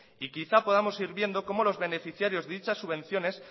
y quizá podamos ir viendo cómo los beneficiarios de dichas subvenciones